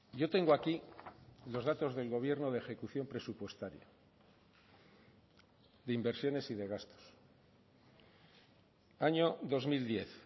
yo tengo aquí los datos del gobierno de ejecución presupuestaria de inversiones y de gastos año dos mil diez